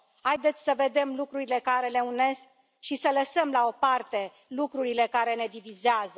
Haideți să vedem lucrurile care ne unesc și să lăsăm la o parte lucrurile care ne divizează.